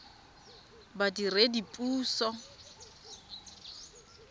badiredipuso